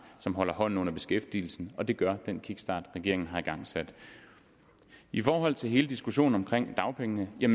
som holder hånden under beskæftigelsen og det gør den kickstart regeringen har igangsat i forhold til hele diskussionen om dagpengene er